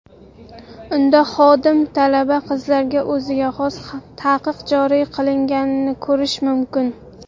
Unda xodim talaba qizlarga o‘ziga xos taqiq joriy qilganini ko‘rish mumkin.